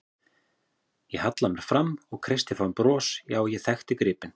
Ég hallaði mér fram og kreisti fram bros, já, ég þekkti gripinn.